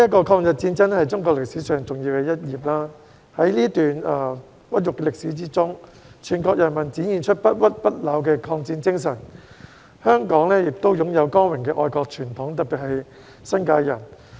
抗日戰爭是中國歷史上重要的一頁，在這段屈辱的歷史中，全國人民展現出不屈不撓的抗戰精神，香港亦擁有光榮的愛國傳統，特別是新界人。